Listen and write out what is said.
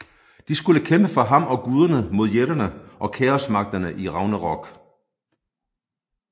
De skulle kæmpe for ham og guderne mod jætterne og kaosmagterne i Ragnarok